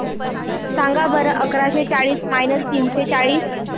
सांगा बरं अकराशे चाळीस मायनस तीनशे चाळीस